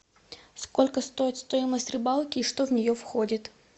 сколько стоит стоимость рыбалки и что в нее входит